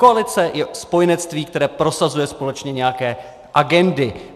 Koalice je spojenectví, které prosazuje společně nějaké agendy.